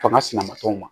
Fanga sinanbaliw ma